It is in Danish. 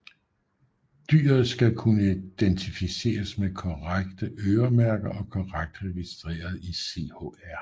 Dyret skal kunne identificeres med korrekte øremærker og korrekt registreret i CHR